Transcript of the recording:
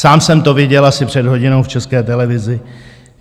Sám jsem to viděl asi před hodinou v České televizi.